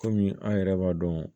Kɔmi an yɛrɛ b'a dɔn